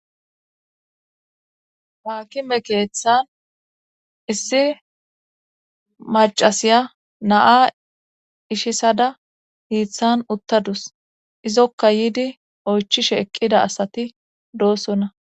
Haakime keeththan issi macasiya naa ishisada hiiththan uttadus izokka yiidi oychishe eqqida asati doossonna.